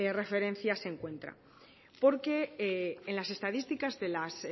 referencia se entra porque en las estadísticas de las